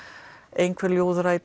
einhver ljóðrænn